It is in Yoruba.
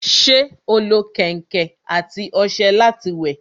ṣé ó lo kẹ̀ǹkẹ̀ àti ọṣẹ láti wẹ̀?